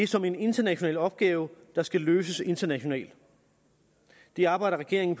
som en international opgave der skal løses internationalt det arbejder regeringen